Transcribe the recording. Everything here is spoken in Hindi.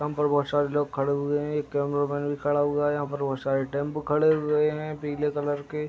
यहाँ पर बोहोत सारे लोग खड़े हुए हैं। एक कैमरामैंन भी खड़ा हुआ है। यहाँ पे बोहोत सारे टेम्पू खड़े हुए हैं पीले कलर के।